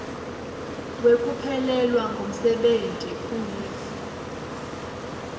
wekuphelelwa ngumsebenti uif